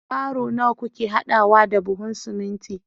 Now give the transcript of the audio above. baro nawa kuke hadawa da buhun siminti